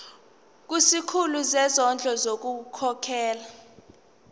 kusikhulu sezondlo ngokukhokhela